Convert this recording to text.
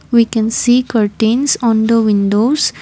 we can see curtains on the windows.